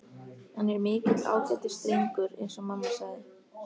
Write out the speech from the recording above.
Hann er mikill ágætisdrengur- eins og mamma sagði.